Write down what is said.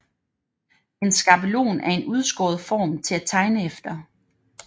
En skabelon er en udskåret form til at tegne efter